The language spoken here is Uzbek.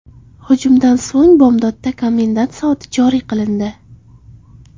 Hujumdan so‘ng Bag‘dodda komendant soati joriy qilindi.